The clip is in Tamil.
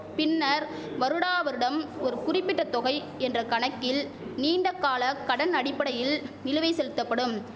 பின்னர் வருடா வருடம் ஒரு குறிப்பிட்ட தொகை என்ற கணக்கில் நீண்டகால கடன் அடிப்படையில் நிலுவை செலுத்தப்படும்